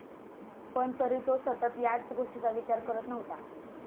पण, तरी तो सतत याच गोष्टीचा विचार करत नव्हता.